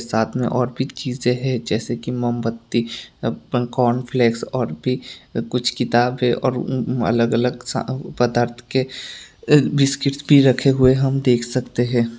साथ में और भी चीजें है जैसे की मोमबत्ती एप्पल कॉर्नफ्लेक्स और भी कुछ किताब है और अलग अलग पदार्थ के बिस्किट रखे हुए हम देख सकते हैं।